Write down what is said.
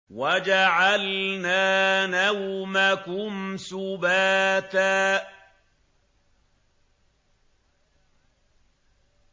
وَجَعَلْنَا نَوْمَكُمْ سُبَاتًا